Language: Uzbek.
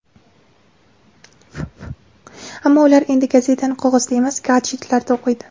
Ammo ular endi gazetani qog‘ozda emas, gadjetlarda o‘qiydi.